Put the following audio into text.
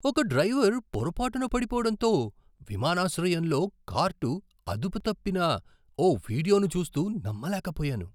ఒక డ్రైవర్ పొరపాటున పడిపోవడంతో విమానాశ్రయంలో కార్ట్ అదుపు తప్పిన ఓ వీడియోను చూస్తూ నమ్మలేకపోయాను.